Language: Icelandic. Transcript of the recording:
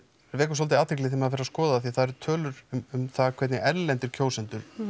vekur svolítið athygli þegar maður fer að skoða því það eru tölur um það hvernig erlendir kjósendur